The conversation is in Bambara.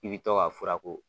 I bi to ka fura k'o